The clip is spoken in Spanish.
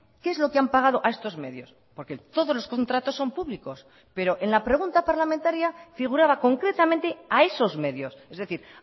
qué es lo que han pagado a estos medios porque todos los contratos son públicos pero en la pregunta parlamentaria figuraba concretamente a esos medios es decir